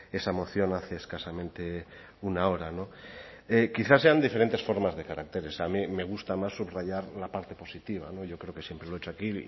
esa moción hace escasamente una hora no quizá sean diferentes formas de caracteres a mí me gusta más subrayar la parte positiva no yo creo que siempre lo he hecho aquí